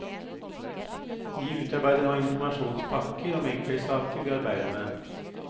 Vi utarbeider nå informasjonspakker om enkeltsaker vi arbeider med.